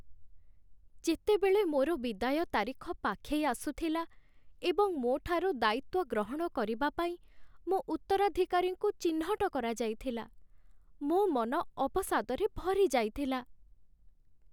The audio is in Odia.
ଯେତେବେଳେ ମୋର ବିଦାୟ ତାରିଖ ପାଖେଇ ଆସୁଥିଲା ଏବଂ ମୋ ଠାରୁ ଦାୟିତ୍ୱ ଗ୍ରହଣ କରିବା ପାଇଁ ମୋ ଉତ୍ତରାଧିକାରୀଙ୍କୁ ଚିହ୍ନଟ କରାଯାଇଥିଲା, ମୋ ମନ ଅବସାଦରେ ଭରିଯାଇଥିଲା ।